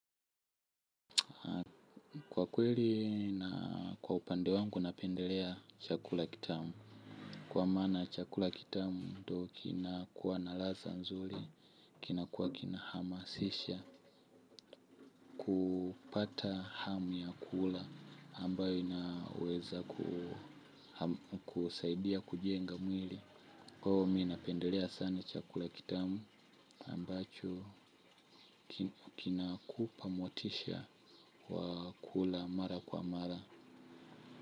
Kwa kweli na kwa upande wangu napendelea chakula kitamu. Kwa maana chakula kitamu ndo kinakuwa na laza nzuli. Kinakuwa kina hamasisha kupata hamu ya kula ambayo inaweza kusaidia kujenga mwili. Kwao mi napendelea sana chakula kitamu ambacho kinakupa motisha wa kula mara kwa mara.